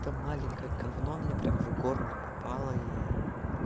это маленькое говно мне прямо в горло попала и